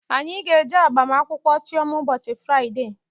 Anyị ga-eje agbamakwụkwọ Chioma ụbọchị Fraịdee